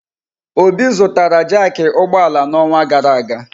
Obi zụtara jaaki ụgbọ ala n'ọnwa gara aga.